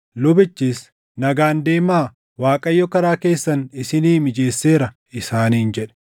Lubichis, “Nagaan deemaa; Waaqayyo karaa keessan isinii mijeesseera” isaaniin jedhe.